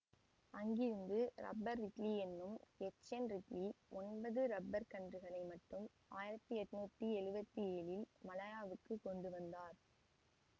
அங்கிருந்து rubber Ridley எனும் H N Ridley ஒன்பது ரப்பர்க் கன்றுகளை மட்டும் ஆயிரத்தி எண்ணூற்றி எழுவத்தி ஏழில் மலாயாவுக்கு கொண்டு வந்தார்